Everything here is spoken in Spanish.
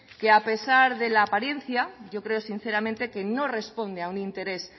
que a pesar de la apariencia yo creo sinceramente que no responde a un interés